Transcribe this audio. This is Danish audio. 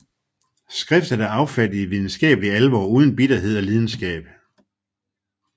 Skriftet er affattet i videnskabelig alvor uden bitterhed og lidenskab